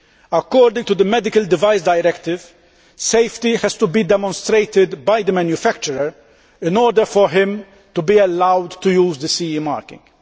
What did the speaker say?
According to the Medical Device Directive, safety has to be demonstrated by the manufacturer in order for him to be allowed to use the CE marking.